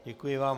Děkuji vám.